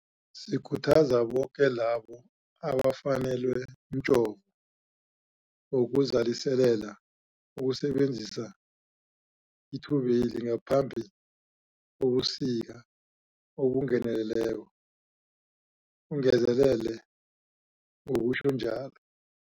Sikhuthaza boke labo abafanelwe mjovo wokuzaliselela ukusebenzisa ithubeli ngaphambi kobusika obungeneleleko, ungezelele ngokutjho njalo.